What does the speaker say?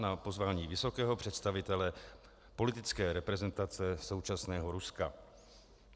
Na pozvání vysokého představitele politické reprezentace současného Ruska.